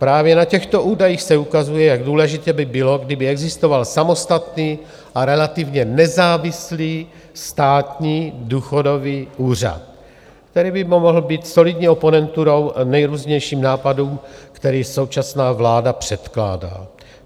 Právě na těchto údajích se ukazuje, jak důležité by bylo, kdyby existoval samostatný a relativně nezávislý státní důchodový úřad, který by mohl být solidní oponenturou nejrůznějším nápadům, které současná vláda předkládá.